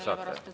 No ikka saate.